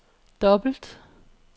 dobbelt